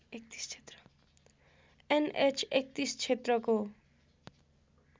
an H ३१ क्षेत्रको